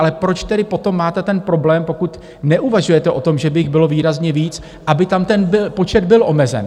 Ale proč tedy potom máte ten problém, pokud neuvažujete o tom, že by jich bylo výrazně víc, aby tam ten počet byl omezen?